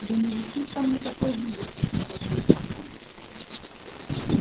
да не висит там никакой вывески снова злится он